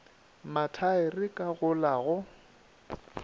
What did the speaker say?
mathaere ka go la go